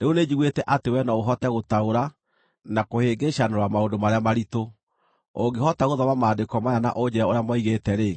Rĩu nĩnjiguĩte atĩ wee no ũhote gũtaũra na kũhĩngĩcanũra maũndũ marĩa maritũ. Ũngĩhota gũthoma maandĩko maya na ũnjĩĩre ũrĩa moigĩte-rĩ,